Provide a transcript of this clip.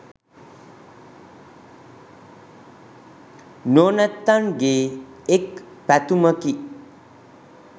නුවණැත්තන්ගේ එක් පැතුමකි.